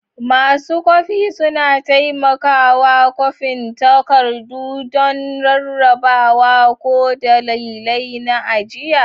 Masu kwafi suna taimakawa kwafin takardu don rarrabawa ko dalilai na ajiya.